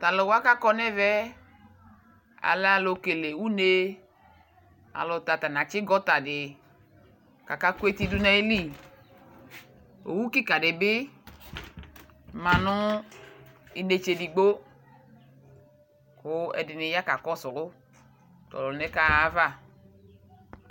Taluwa ku akɔ nu ɛvɛ yɛ alɛ alu kele une Alu nu ta katsi gɔta di ku aka ku eti du nu ayili owu kika di bi ma nu inetse edigbo Ku ɛdini ya kakɔsu tɛ ɔluna yɛ kaɣa Alava